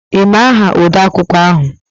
Ị ma aha odeakwụkwọ ahụ?